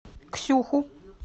ксюху